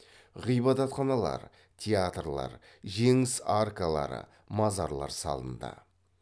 ғибадатханалар театрлар жеңіс аркалары мазарлар салынды